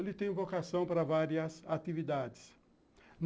Ele tem vocação para várias atividades.